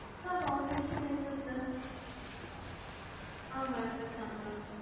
sir அப்ப obviously Bengaluru sir. ஆமா sir Bengaluru.